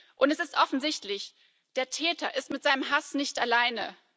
Und es ist offensichtlich Der Täter ist mit seinem Hass nicht alleine.